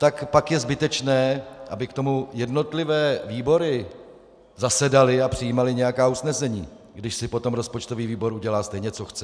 Tak pak je zbytečné, aby k tomu jednotlivé výbory zasedaly a přijímaly nějaká usnesení, když si potom rozpočtový výbor udělá stejně, co chce.